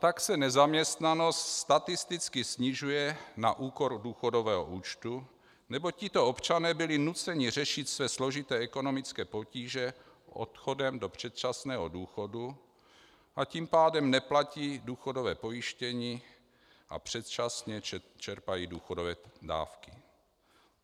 Tak se nezaměstnanost statisticky snižuje na úkor důchodového účtu, neboť tito občané byli nuceni řešit své složité ekonomické potíže odchodem do předčasného důchodu, a tím pádem neplatí důchodové pojištění a předčasně čerpají důchodové dávky.